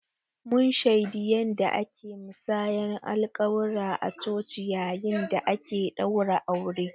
Mun shaidi yanda ake musayar alƙawura a coci yayin da ake ɗaura aure